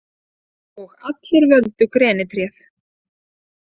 Og allir völdu þeir grenitréð.